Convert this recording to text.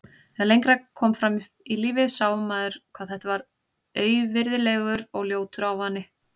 Þegar lengra kom fram í lífið sá maður hvað þetta var auvirðilegur og ljótur ávani.